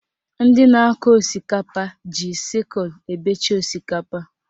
Ndị na-akọ osikapa ji sịkulụ ebecha osikapa